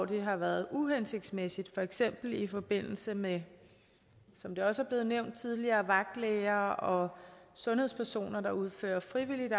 der har været uhensigtsmæssige for eksempel i forbindelse med som det også er blevet nævnt tidligere vagtlæger og sundhedspersoner der udfører frivilligt